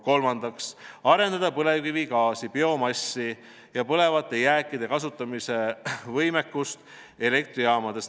Kolmandaks, arendada põlevkivigaasi, biomassi ja põlevate jääkide kasutamise võimekust elektrijaamades.